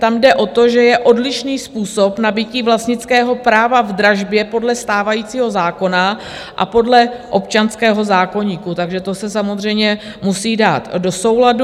Tam jde o to, že je odlišný způsob nabytí vlastnického práva v dražbě podle stávajícího zákona a podle občanského zákoníku, takže to se samozřejmě musí dát do souladu.